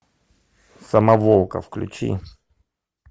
самоволка включи